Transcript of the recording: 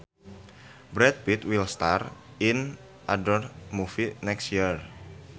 Brad Pitt will star in another movie next year